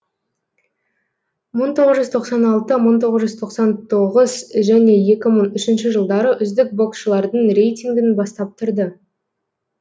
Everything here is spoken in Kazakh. мың тоғыз жүз тоқсан алты мың тоғыз жүз тоқсан тоғыз және екі мың үшінші жылдары үздік боксшылардың рейтингін бастап тұрды